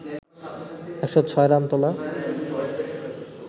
১০৬ run তোলা